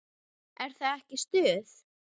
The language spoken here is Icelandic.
Er það ekki stuð?